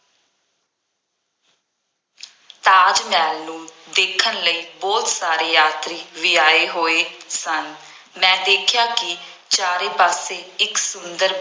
ਤਾਜ ਮਹਿਲ ਨੂੰ ਦੇਖਣ ਲਈ ਬਹੁਤ ਸਾਰੇ ਯਾਤਰੀ ਵੀ ਆਏ ਹੋਏ ਸਨ। ਮੈਂ ਦੇਖਿਆਂ ਕਿ ਚਾਰੇ ਪਾਸੇ ਇੱਕ ਸੁੰਦਰ